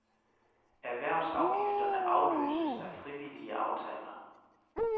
Erhvervsafgifterne afløses af frivillige aftaler.